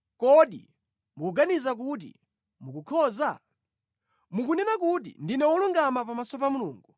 “Kodi mukuganiza kuti mukukhoza? Mukunena kuti, ‘Ndine wolungama pamaso pa Mulungu.’